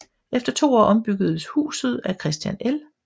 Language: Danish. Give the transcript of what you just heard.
Efter to år ombyggedes huset af Christian L